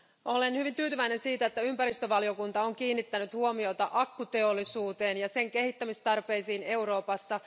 Olen hyvin tyytyväinen siihen, että ympäristövaliokunta on kiinnittänyt huomiota akkuteollisuuteen ja sen kehittämistarpeisiin Euroopassa.